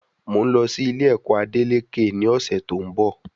Mọ n lọ sí Ilé ẹ̀kọ́ Adeleke ní ọ̀sẹ̀ tí òún bo